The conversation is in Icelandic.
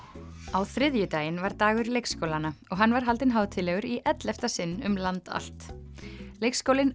á þriðjudaginn var dagur leikskólanna og hann var haldinn hátíðlegur í ellefta sinn um land allt leikskólinn